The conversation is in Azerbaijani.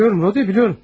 Bilirəm, Rode, bilirəm.